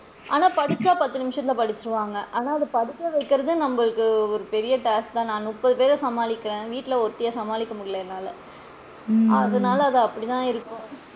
ஆனா படிச்சா பத்து நிமிஷத்துல படிச்சிடுவாங்கா ஆனா படிக்க வைக்கிறது நம்மளுக்கு ஒரு பெரிய task தான் நான் முப்பது பேர சமாளிக்கிறேன் வீட்ல ஒருத்திய சமாளிக்க முடியல என்னால அதனால அது அப்படிதான் இருக்கும்.